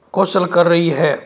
कौ शल कर रही है।